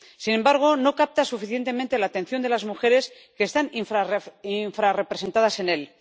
Sin embargo, no capta suficientemente la atención de las mujeres, que están infrarrepresentadas en él.